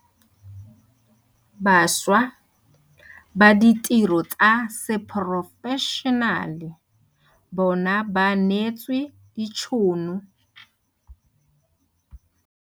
Bašwa ba ditiro tsa seporofešenale bona ba neetswe ditšhono.